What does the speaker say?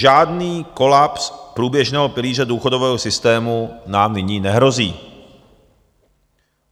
Žádný kolaps průběžného pilíře důchodového systému nám nyní nehrozí.